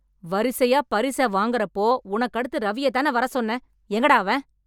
வரிசையா பரிச வாங்கறப்போ, உனக்கு அடுத்து ரவியத்தான வரச்சொன்னேன்... எங்கடா அவன்?